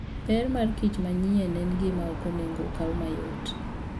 Ber markich manyien en gima ok onego okaw mayot.